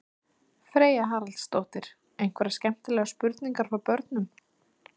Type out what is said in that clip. Freyja Haraldsdóttir: Einhverjar skemmtilegar spurningar frá börnum?